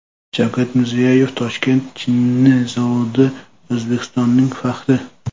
Shavkat Mirziyoyev: Toshkent chinni zavodi O‘zbekistonning faxri.